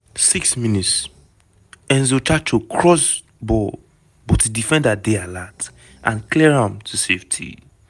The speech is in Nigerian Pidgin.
6 mins - enzo tchato cross ball but di defender dey alert and clear am to safety.